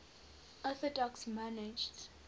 orthodox monarchs